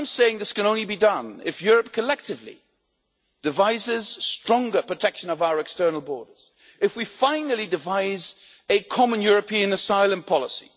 This can only be done if Europe collectively devises stronger protection of our external borders if we finally devise a common European asylum policy